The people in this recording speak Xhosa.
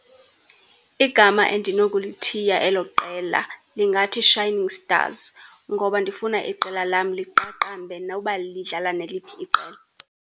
Igama endinokulithiya elo qela lingathi Shining Stars, ngoba ndifuna iqela lam liqaqambe noba lidlala neliphi iqela.